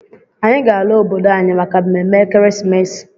Anyị ga-ala obodo anyị maka mmemme ekeresimesi.